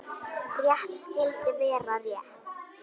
Rétt skyldi vera rétt.